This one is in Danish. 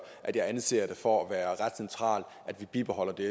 at jeg anser det for at være ret centralt at vi bibeholder det